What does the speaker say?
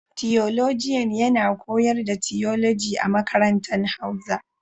Tiyolojian yana koyars da tiyoloji a makarantan hauza.